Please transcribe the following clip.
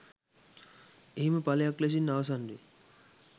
එහිම ඵලයක් ලෙසින් අවසන් වේ.